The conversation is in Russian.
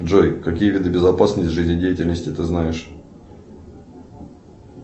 джой какие виды безопасности жизнедеятельности ты знаешь